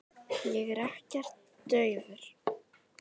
Ég er ekkert daufur.